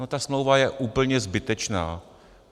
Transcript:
No, ta smlouva je úplně zbytečná.